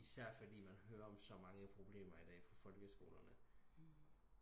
Især fordi man hører om så mange problemer i dag på folkeskolerne